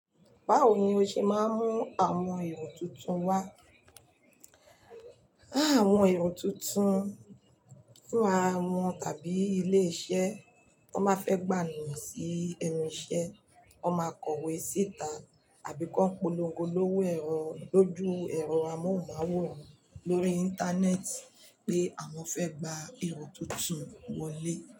Báwo ni oọ́ ṣe máa ń mú àwọn èrò tuntun wá? Áà, àwọn èrò tuntun fún ara wọn tàbí ilé iṣẹ́ tí wọ́n bá fẹ́ gbà eeyan sí enu ise, wọ́n máa kọ̀wé síta àbí kọ́ polongo lówó ẹ̀rọ lójú ẹ̀rọ amóhùnmáwòrán lórí Íńtánẹ́ẹ̀tì pé àwọn fẹ́ gba èrò tuntun wọlé.